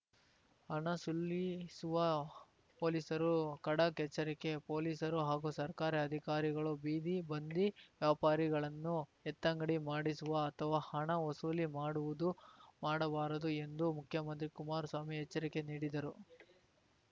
ಹಣ ಸುಲಿಸುವ ಪೊಲೀಸರು ಖಡಕ್‌ ಎಚ್ಚರಿಕೆ ಪೊಲೀಸರು ಹಾಗೂ ಸರ್ಕಾರಿ ಅಧಿಕಾರಿಗಳು ಬೀದಿ ಬಂದಿ ವ್ಯಾಪಾರಿಗಳನ್ನು ಎತ್ತಂಗಡಿ ಮಾಡಿಸುವ ಅಥವಾ ಹಣ ವಸೂಲಿ ಮಾಡುವುದು ಮಾಡಬಾರದು ಎಂದು ಮುಖ್ಯಮಂತ್ರಿ ಕುಮಾರಸ್ವಾಮಿ ಎಚ್ಚರಿಕೆ ನೀಡಿದರು